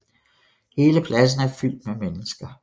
Hele pladsen af fyldt med mennesker